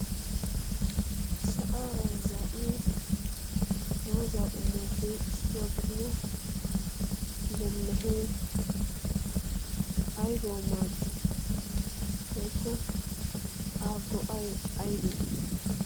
sa'aara zaa'iya doozaa qumoppe issuwaa gidida lelehee aibau maaddi boikko a go'ay aybee?